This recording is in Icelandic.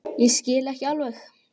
Ég skil ekki alveg